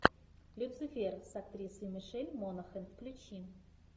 люцифер с актрисой мишель монахэн включи